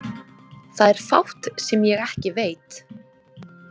Það er fátt sem ég ekki veit.